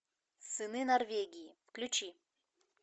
сыны норвегии включи